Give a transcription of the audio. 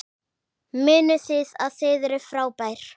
Munið að þið eruð frábær!